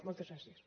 moltes gràcies